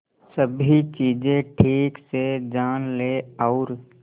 सभी चीजें ठीक से जान ले और